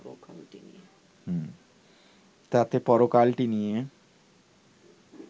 তাতে পরকালটি নিয়ে